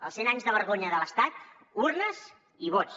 als cent anys de vergonya de l’estat urnes i vots